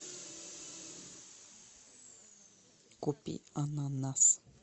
купи ананас